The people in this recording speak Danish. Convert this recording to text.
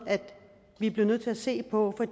vi blev nødt til at se på